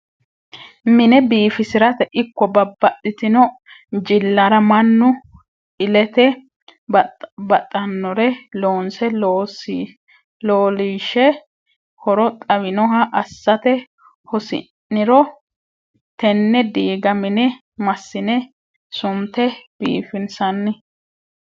Mine biifisirate ikko babbaxxitino jillara mannu ilete baxanore loonse leelishe horo xawinoha assate hasi'niro tene diiga mine massine sunte biifinsanni.